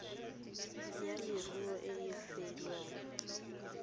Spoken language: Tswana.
ya leruo e e filweng